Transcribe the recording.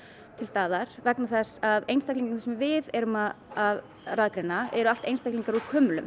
til staðar vegna þess að einstaklingarnir sem við erum að eru allt einstaklingar úr